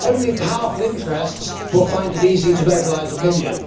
Only powerful interests will find it easy to mobilise opinion.